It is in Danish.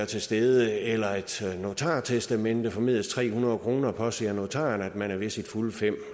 til stede eller et notartestamente formedelst tre hundrede kroner påser notaren at man er ved sine fulde fem